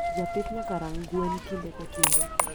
Japith nyaka rang gwen kinde ka kinde.